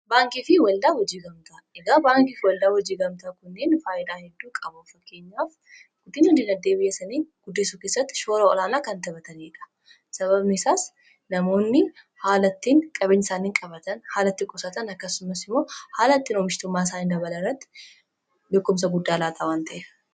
baankii fi waldaa hojii gamtaa egaa baankiifi waldaa hojii gamtaa kunniin faayidaa hedduu qabuu fakkeenyaaf guddinna dinagdee biyya isaaani guddisu kessatti shoora olaanaa kan taphataniidha sababni isaas namoonni haala ittiin qabeenya isaanii qabatan haala ittin qusatan akkasumas immoo haala ittiin oomishtummaa isaanii dabalan irratti bekkumsa guddaa laataa waan ta'ef